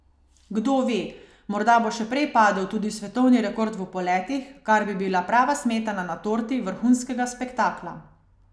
Kdo ve, morda bo še prej padel tudi svetovni rekord v poletih, kar bi bila prava smetana na torti vrhunskega spektakla.